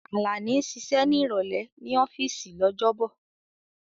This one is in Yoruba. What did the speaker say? Alani ń ṣiṣẹ́ ní ìrọ̀lẹ́ ní ọ́fíìsì lọ́jọ́bọ̀.